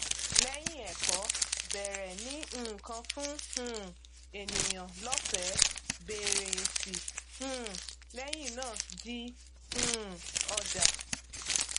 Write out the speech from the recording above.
lẹyìn ẹkọ bẹrẹ ní nǹkan fún um ènìyàn lọfẹẹ bèèrè èsì um lẹyìn náà di um ọjà